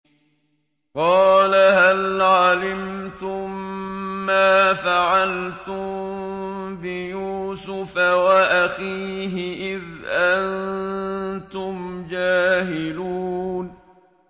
قَالَ هَلْ عَلِمْتُم مَّا فَعَلْتُم بِيُوسُفَ وَأَخِيهِ إِذْ أَنتُمْ جَاهِلُونَ